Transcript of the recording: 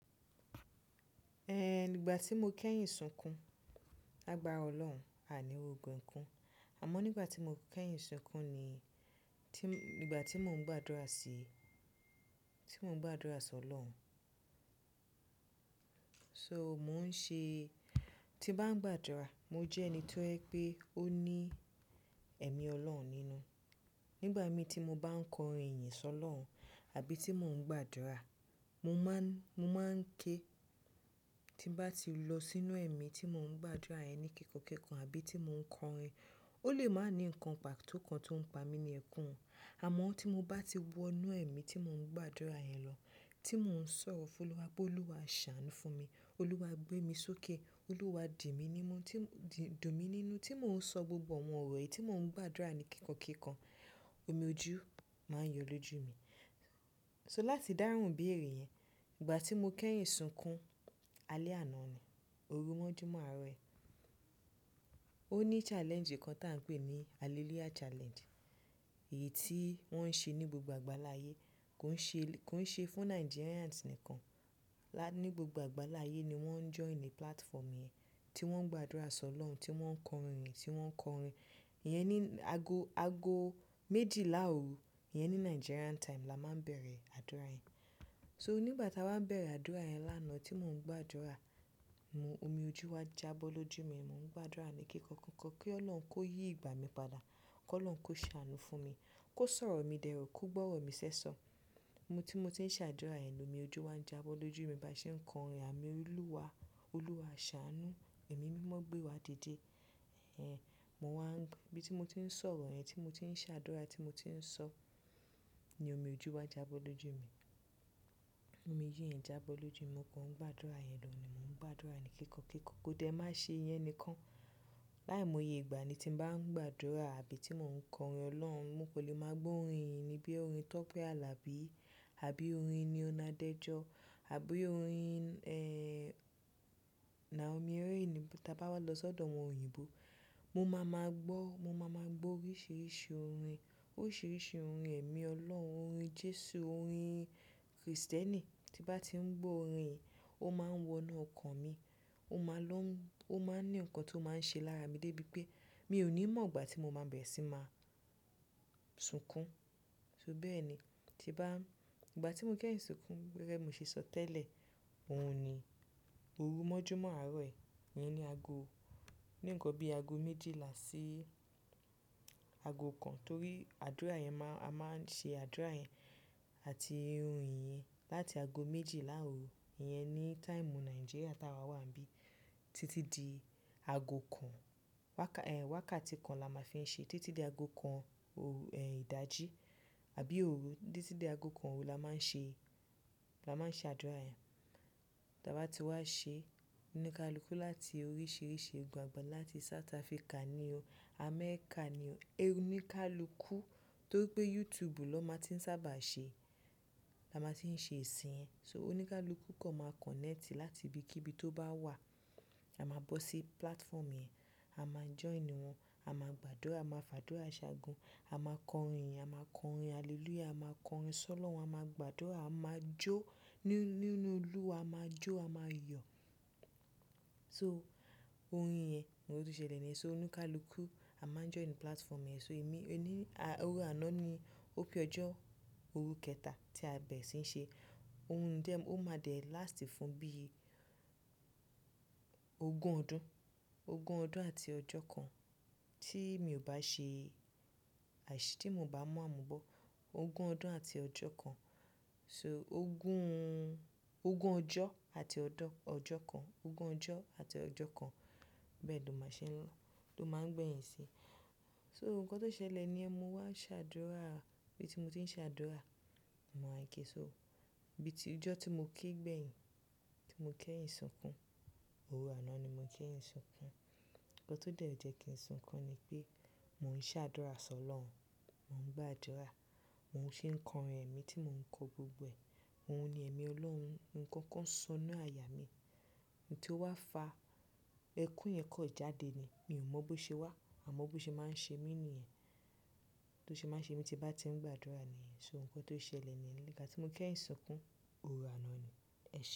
Ẹn, nígbà tí mo kẹ́yìn sunkún, làgbà ra Ọlọ́run, àní ri ogun ẹ̀kún. Àmọ́ nígbà tí mo kẹ́yìn sunkún ni, tí, nígbà tí mò ń gbàdúrà sí, tí mò ń gbàdúrà sọ̀ ọlọ́run. So mò ń ṣe, tí bá ń gbàdúrà, mo jẹ́ ẹni tó jẹ pé ó ní ẹ̀mí Ọlọ́run nínú. Nígbà mi tí mo bá ń kọrin ìyìn sọ̀ ọlọ́run àbí tí mò ń gbàdúrà, mo máa ń, mo máa ń ké tí bá ti lọ sínú ẹ̀mí tí mò ń gbàdúrà yẹ ni kíkan kíkan àbí tí mò ń kọrin. Ó lè máa ní nǹkan pàtó kan tó ń pa mi ni ẹ̀kún. Àmọ́ tí mo bá ti wọ inú ẹ̀mí tí mò ń gbàdúrà yẹn lọ, tí mò ń sọ̀rọ̀ fún Olúwa pé Olúwa ṣàánú fún mi, Olúwa gbé mi sókè, Olúwa di mí nímu, tí, di, dùn mí nínú tí mò ń sọ gbogbo àwọn ọ̀rọ̀ yìí tí mò ń gbàdúrà ní kíkan kíkan, omi ojú máa ń yọ lójú mi. So láti dáhùn ìbéèrè yẹn, ìgbà tí mo kẹ́yìn sunkún, alẹ́ àná ni. Orú mọ́júmọ́ àárọ̀ yí. Ó ní challenge kan tí à ń pè ní Hallelujah Challenge. Èyí tí wọ́n ń ṣe ní gbogbo àgbáláyé, kò ń ṣe, kò ń ṣe fún Nigerians nìkan. Lá, ní gbogbo àgbáláyé ni wọ́n ń join ní platform yẹn, tí wọ́n ń gbàdúrà sọ̀ ọlọ́run, tí wọ́n ń kọrin, tí wọ́n ń kọrin. Yẹn ni ago, ago méjìlá òru, yẹn ní Nigerian time la máa ń bẹ̀rẹ̀ àdúrà yẹn. So nígbà táa bá ń bẹ̀rẹ̀ àdúrà yẹn lánàá tí mò ń gbàdúrà, mo, omi ojú wá jábọ́ lójú mi, mò ń gbàdúrà ní kékọ̀ọ́ kékọ̀ọ́ pé Ọlọ́run kó yí ìgbà mi padà, kó Ọlọ́run kó ṣàánú fún mi, kó sọ̀rọ̀ mi dẹ́rọ̀, kó gbọ́ ọ̀rọ̀ mi ṣẹ́sọ. Mo tí mo ti ń ṣe àdúrà yẹn, omi ojú wá ń jábọ́ lójú mi bá ṣe ń kọrin ànu Olúwa, Olúwa ṣàánú, ẹ̀mí mímọ́ gbé wa didé. Ẹn, mo wá ń gbe, bí tí mo ti ń sọ̀rọ̀ yẹn, tí mo ti ń ṣe àdúrà, tí mo ti ń sọ ni omi ojú wá jábọ́ lójú mi. Omi ojú yàn jábọ́ lójú mi, mo kò ń gbàdúrà yẹn lọ, mo ń gbàdúrà ní kékọ̀ọ́ kékọ̀ọ́. Kó dẹ́ má ṣe yẹn ni kan. Láìmọ̀ye ìgbà ni tí bá ń gbàdúrà àbí tí mò ń kọrin ọlọ́run, mo kò lè máa gbó orin ìní bí orin Tọ́pẹ́ Alabi àbí orin ní Ọnadẹ́jọ àbí orin, ẹ́ n à omi ẹrú ìní tí a bá wá lọ sọ́dọ̀ àwọn òyìnbó. Mo máa máa gbọ́, mo máa máa gbọ́ oríṣìíríṣìí orin. Oríṣìíríṣìí orin ẹ̀mí Ọlọ́run, orin Jésù, orin Kristẹni. Tí bá ti ń gbọ́ orin yìí, ó máa ń wọ inú ọkàn mi. Ó máa ń lọ́, ó máa ń ní nǹkan tó máa ń ṣe lára mi débi pé mi ò ní mọ̀ ìgbà tí mo máa bẹ̀rẹ̀ sí máa sunkún. So bẹ́ẹ̀ ni. Tí bá, ìgbà tí mo kẹ́yìn sunkún gẹ́gẹ́ bí mo ṣe sọ tẹ́lẹ̀, òun ni orú mọ́júmọ́ àárọ̀ ẹ yẹn ni ago, ní nǹkan bí ago méjìlá sí ago kan, torí àdúrà yẹn máa, a máa ń ṣe àdúrà yẹn àti orin yìí láti ago méjìlá òru iyẹn ní time Nigeria táa wa wà níbí títí di ago kan. Waka, ẹ́n, waka tí kan la máa fi ń ṣe, títí di ago kan òru, ẹ́n ìdájí àbí òru títí di ago kan òru la máa ń ṣe, la máa ń ṣe àdúrà yẹn. Tí a bá ti wá ṣe oníkálukú láti oríṣìíríṣìí ìgban-gbà láti South Africa ni o, Amẹ́ríkà ni o. Oníkálukú torí pé YouTube ló máa ti ń sábà ṣe, la máa ti ń ṣe ìsìn yẹn. So oníkálukú kan máa connect láti ibi kí ibi tó bá wà, a máa bọ́ sí platform yẹn, a máa join wọ́n, a máa gbàdúrà, a máa fàdúrà ṣàgun, a máa kọrin, a máa kọrin hallelujah, a máa kọrin sọ̀ ọlọ́run, a máa gbàdúrà, a máa jó nínú, nínú Olúwa, a máa jó, a máa yọ̀. So orin yẹn ni ó ti ṣẹlẹ̀ ni. So oníkálukú a máa join platform yẹn. So èmi, ẹni, òru àná ni, ó pé ọjọ́, orú kẹta tí a bẹ̀rẹ̀ sí ń ṣe. Ohun dẹ́, ó máa dẹ̀ last fún bí ogún ọdún, ogún ọdún àti ọjọ́ kan tí mi ò bá ṣe, àìṣe tí mo bá mu àmu bọ́. Ogún ọdún àti ọjọ́ kan. So ogún, ogún ọjọ́ àti ọ̀dọ, ọjọ́ kan, ogún ọjọ́ àti ọjọ́ kan bẹ́ẹ̀ ni ó máa ṣe ń lọ, ló máa ń gbé yìn sí. So nǹkan tó ṣẹlẹ̀ ni ẹ́, mo wá ṣe àdúrà, bí tí mo ti ń ṣe àdúrà, mo wan ké so. Bí tí ọjọ́ tí mo ké gbẹ̀yìn, tí mo kẹ́yìn sunkún, òru àná ni mo kẹ́yìn sunkún. Ǹkan tó dẹ́ jẹ kí n sunkún ni pé mò ń ṣe àdúrà sọ̀ ọlọ́run, mò ń gbàdúrà, mò ń ṣe ń kọrin ẹ̀mí tí mò ń kọ gbogbo ẹ̀. Ohun ni ẹ̀mí Ọlọ́run, nǹkan kan ń sọ inú aya mi. Ohun tó wá fa ẹkún yẹn kàn jáde ni. Mi ò mọ̀ bó ṣe wá, àmọ́ bó ṣe máa ń ṣe mí níyẹn. Tó ṣe máa ṣe mí tí bá ti ń gbàdúrà níyẹn. So nǹkan tó ṣẹlẹ̀ ni, nígbà tí mo kẹ́yìn sunkún, òru àná ni. Ẹ ṣe.